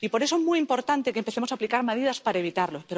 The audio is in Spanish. Y por eso es muy importante que empecemos a aplicar medidas para evitarlo.